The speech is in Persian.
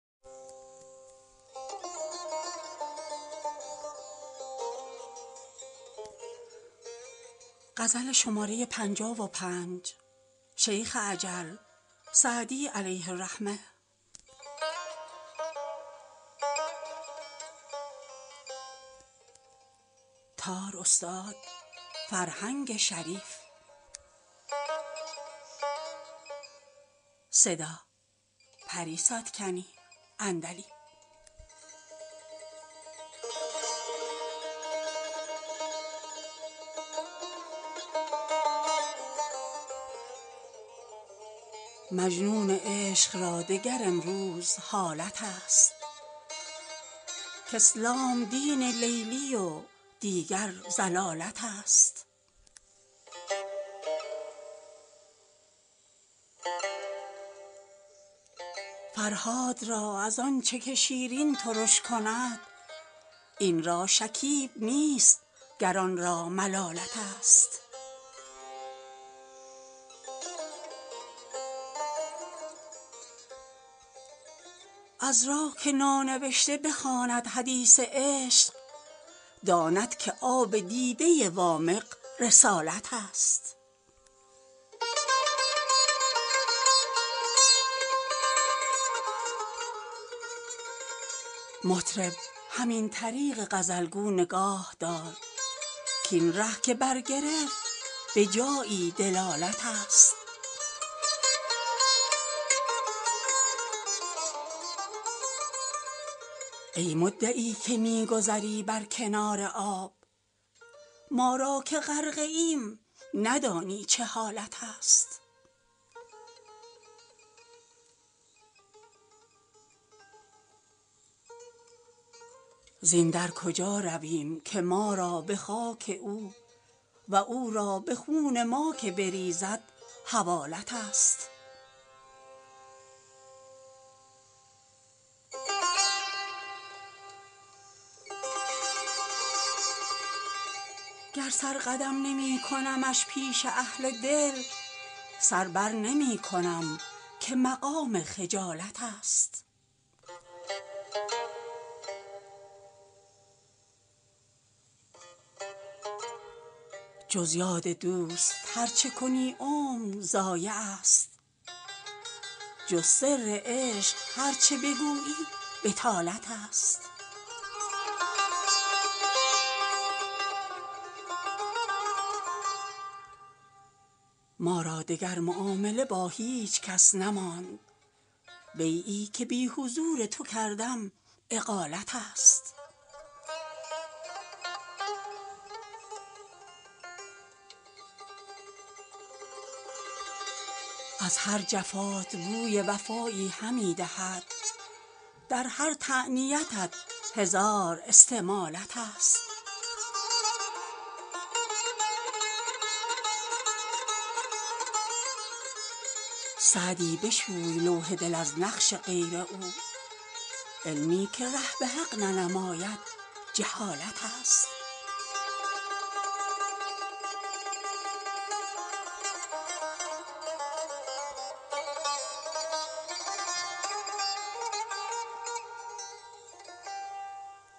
مجنون عشق را دگر امروز حالت است کاسلام دین لیلی و دیگر ضلالت است فرهاد را از آن چه که شیرین ترش کند این را شکیب نیست گر آن را ملالت است عذرا که نانوشته بخواند حدیث عشق داند که آب دیده وامق رسالت است مطرب همین طریق غزل گو نگاه دار کاین ره که برگرفت به جایی دلالت است ای مدعی که می گذری بر کنار آب ما را که غرقه ایم ندانی چه حالت است زین در کجا رویم که ما را به خاک او و او را به خون ما که بریزد حوالت است گر سر قدم نمی کنمش پیش اهل دل سر بر نمی کنم که مقام خجالت است جز یاد دوست هر چه کنی عمر ضایع است جز سر عشق هر چه بگویی بطالت است ما را دگر معامله با هیچ کس نماند بیعی که بی حضور تو کردم اقالت است از هر جفات بوی وفایی همی دهد در هر تعنتیت هزار استمالت است سعدی بشوی لوح دل از نقش غیر او علمی که ره به حق ننماید جهالت است